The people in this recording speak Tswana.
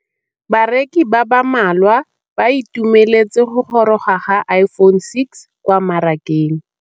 Bareki ba ba malwa ba ituemeletse go gôrôga ga Iphone6 kwa mmarakeng.